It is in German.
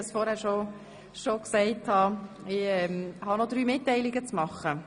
Ich habe noch ein paar Mitteilungen zu machen.